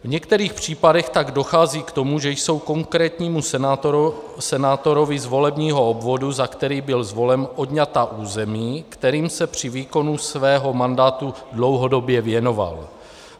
V některých případech tak dochází k tomu, že jsou konkrétnímu senátorovi z volebního obvodu, za který byl zvolen, odňata území, kterým se při výkonu svého mandátu dlouhodobě věnoval.